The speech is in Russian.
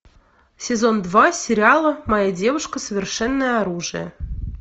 сезон два сериала моя девушка совершенное оружие